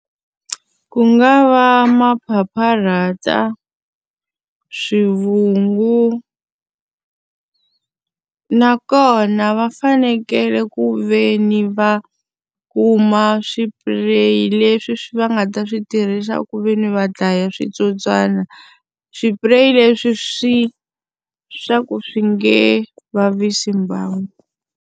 Ku nga va maphapharata, swivungu nakona va fanekele ku ve ni va kuma swipureyi leswi va nga ta swi tirhisa ku ve ni va dlaya switsotswana. Swipureyi leswi swi swa ku swi nge vavisi mbango.